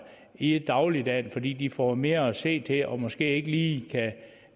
i dagligdagen fordi de får mere at se til og måske ikke lige kan